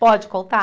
Pode contar?